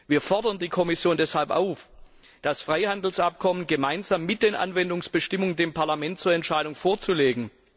Wir fordern die Kommission deshalb auf, das Freihandelsabkommen gemeinsam mit den Anwendungsbestimmungen dem Parlament zur Entscheidung vorzulegen.